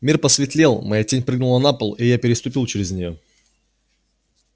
мир посветлел моя тень прыгнула на пол и я переступил через нее